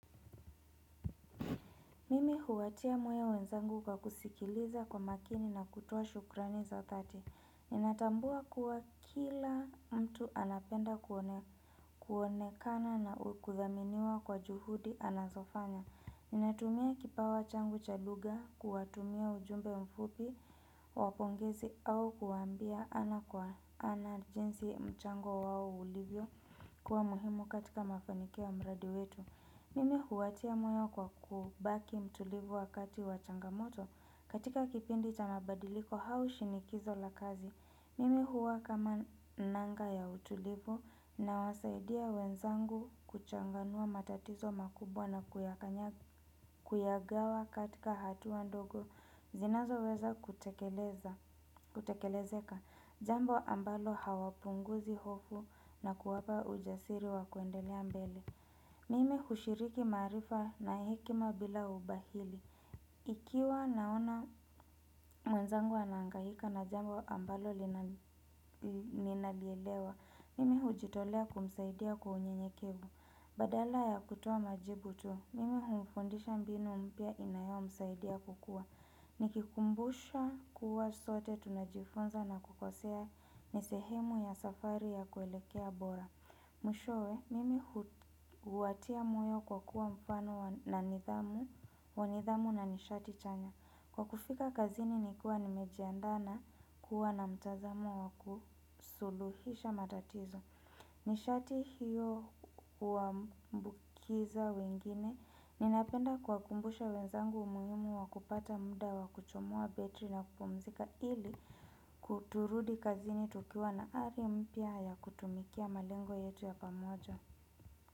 Mimi huwatia moyo wenzangu kwa kusikiliza kwa makini na kutia shukrani za dhati. Ninatambua kuwa kila mtu anapenda kuonekana na kuthaminiwa kwa juhudi anazofanya. Ninatumia kipawa changu cha lugha, kuwatumia ujumbe mfupi, wa pongezi au kuwaambia ana kwa ana jinsi mchango wao ulivyokuwa muhimu katika mafanikio ya mradi wetu. Mimi huwatia moyo kwa kubaki mtulivu wakati wa changamoto katika kipindi cha mabadiliko au shinikizo la kazi. Mimi huwa kama nanga ya utulivu nawasaidia wenzangu kuchanganua matatizo makubwa na kuyagawa katika hatua ndogo. Zinazoweza kutekelezeka jambo ambalo hawapunguzi hofu na kuwapa ujasiri wa kuendelea mbele. Mimi hushiriki maarifa na hekima bila ubahili. Ikiwa naona mwenzangu anahangaika na jambo ambalo ninalielewa. Mimi hujitolea kumsaidia kwa unyenyekevu. Badala ya kutoa majibu tu mimi humfundisha mbinu mpya inayomsaidia kukua. Nikikumbusha kuwa sote tunajifunza na kukosea ni sehemu ya safari ya kuelekea bora. Mwishowe mimi huwatia moyo kwa kuwa mfano wa nidhamu na nishati chanya. Kwa kufika kazini nikiwa nimejiandaa na kuwa na mtazamo wa kusuluhisha matatizo. Nishati hiyo huambukiza wengine. Ninapenda kuwakumbusha wenzangu umuhimu wa kupata muda wa kuchomoa betri na kupumzika. Ili kuturudi kazini tukiwa na ari mpya ya kutumikia malengo yetu ya pamoja.